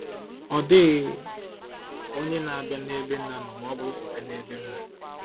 “Ọ dịghị onye na-abịa n’ebe Nna nọ ma ọ bụghị site n’ebe m nọ.”